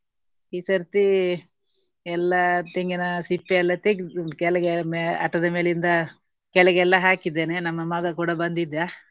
ಈ ಸರ್ತಿ ಎಲ್ಲಾ ತೆಂಗಿನ ಸಿಪ್ಪೆ ಎಲ್ಲಾ ತೆಗ್ದ್ ಕೆಳಗೆ ಮೇ~ ಅಟ್ಟದ ಮೇಲಿಂದ ಕೆಳಗೆಲ್ಲ ಹಾಕಿದ್ದೇನೆ. ನಮ್ಮ ಮಗ ಕೂಡ ಬಂದಿದ್ದ.